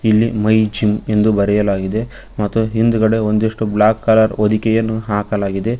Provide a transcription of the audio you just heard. ಇಲ್ಲಿ my gym ಎಂದು ಬರೆಯಲಾಗಿದೆ ಮತ್ತು ಹಿಂದ್ಗಡೆ ಬ್ಲಾಕ್ ಕಲರ್ ಹೊದಿಕೆಯನ್ನು ಹಾಕಲಾಗಿದೆ.